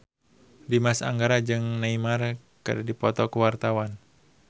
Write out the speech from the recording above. Dimas Anggara jeung Neymar keur dipoto ku wartawan